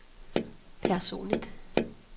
personligt